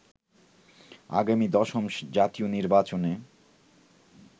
আগামী দশম জাতীয় নির্বাচনে